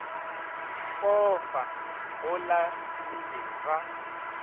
pofa go la dube ba